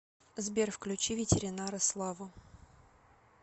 сбер включи ветеринара славу